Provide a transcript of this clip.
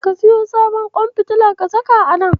Ka siyo sabon ƙwan fitila ka saka a nan.